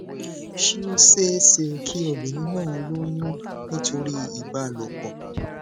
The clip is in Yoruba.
ṣé ó ṣeé ṣe kí obìnrin náà lóyún nítorí ìbálòpò